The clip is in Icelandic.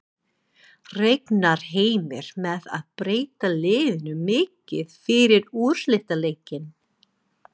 Reiknar Heimir með að breyta liðinu mikið fyrir úrslitaleikinn?